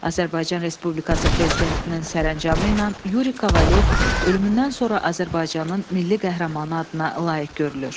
Azərbaycan Respublikası Prezidentinin sərəncamı ilə Yuri Kovalyov ölümündən sonra Azərbaycanın Milli Qəhrəmanı adına layiq görülür.